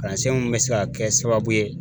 Kalansen mun be se ka kɛ sababu ye